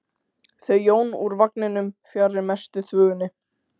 Þau Jón fóru úr vagninum fjarri mestu þvögunni.